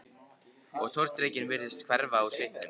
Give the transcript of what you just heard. Og tortryggnin virtist hverfa úr svipnum.